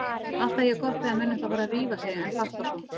Alltaf jafn gott þegar menn ætla að fara að rífa sig en fatta svo